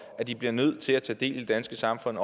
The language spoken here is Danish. at de bliver nødt til at tage del i det danske samfund